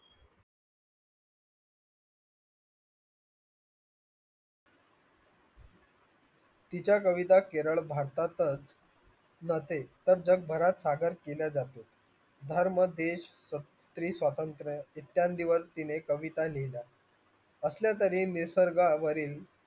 तिच्या कविता केवळ भारतातच साजर केल्या जाते धर्म देश स्त्री स्वातंत्र्य इतक्या दिवस तिने कविता लिहिल्या असल्या तरी निसर्गावरील